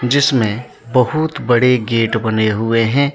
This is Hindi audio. जिसमें बहुत बड़े गेट बने हुए हैं।